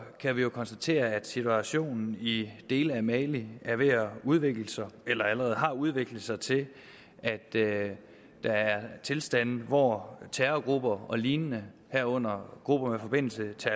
kan vi jo konstatere at situationen i dele af mali er ved at udvikle sig eller allerede har udviklet sig til at der er tilstande hvor terrorgrupper og lignende herunder grupper med forbindelse til